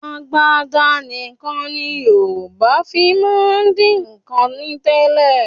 Agbada nìkan ni Yorùbá fi máa ń dín nǹkan ní tẹ́lẹ̀